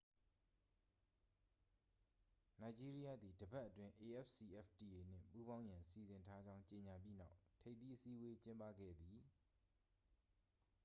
နိုင်ဂျီးရီးယားသည် တစ်ပတ်အတွင်း afcfta နှင့် ပူးပေါင်းရန် စီစဉ်ထားကြောင်း ကြေညာပြီးနောက် ထိပ်သီးအစည်းအဝေး ကျင်းပခဲ့သည်